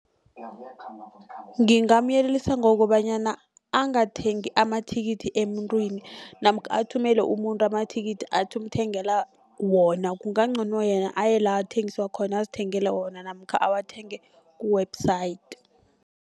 Ngingamyelelisa ngokobanyana angathengi amathikithi emuntwini namkha athumele umuntu amathikithi athi umthengela wona kungabangcono yena aye la athengiswa khona azithengele wona namkha awathenge ku-website.